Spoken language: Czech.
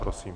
Prosím.